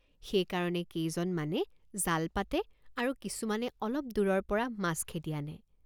সেই কাৰণে কেজনমানে জাল পাতে আৰু কিছুমানে অলপ দূৰৰপৰা মাছ খেদি আনে।